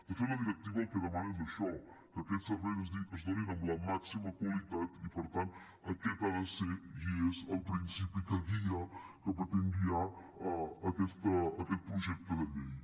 de fet la directiva el que demana és això que aquests serveis es donin amb la màxima qualitat i per tant aquest ha de ser i és el principi que guia que pretén guiar aquest projecte de llei